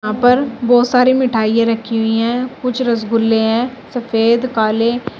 ऊपर बहुत सारी मिठाइयां रखी हुई हैं कुछ रसगुल्ले हैं सफेद काले।